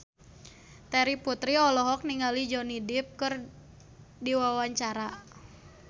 Terry Putri olohok ningali Johnny Depp keur diwawancara